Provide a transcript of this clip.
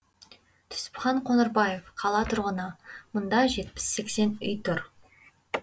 түсіпхан қоңырбаев қала тұрғыны мында жетпіс сексен үй тұр